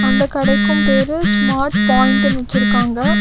இந்த கடைக்கும் பேரு ஸ்மார்ட் பாயிண்ட்னு வெச்சிருக்காங்க.